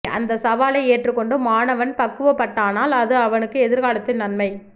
அந்த சவாலை ஏற்று கொண்டு மாணவன் பக்குவப்பட்டானால் அது அவனுக்கு எதிர்காலத்தில் நன்மை